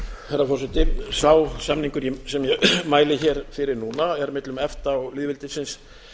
herra forseti sá samningur sem ég mæli hér fyrir núna er millum efta og lýðveldisins